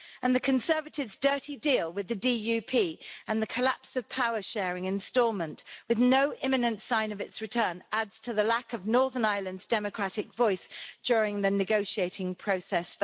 The Conservatives' dirty deal with the DUP and the collapse of power sharing in Stormont, with no imminent sign of its return, further add to the lack of Northern Ireland's democratic voice during the negotiating process.